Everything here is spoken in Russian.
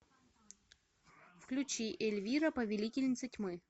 включи эльвира повелительница тьмы